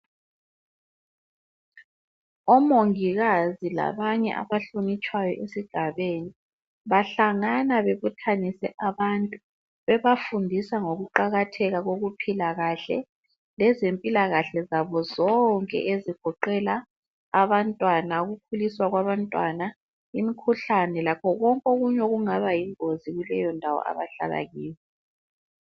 Omongikazi labanye abahlonitshwayo esigabeni bahlangana bebuthanise abantu, bebafundisa ngokuqakatheka kokuphila kahle lezempilakahle zabo zonke ezigoqela abantwana, ukukhuliswa kwabantwana imikhuhlane lakho konke okunye okungaba yingozi kuleyondawo abahlala kiyo.